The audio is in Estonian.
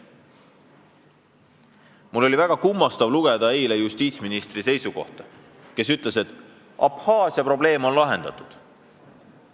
Mul oli eile väga kummastav lugeda justiitsministri seisukohta, kes ütles, et Abhaasia probleem on lahendatud.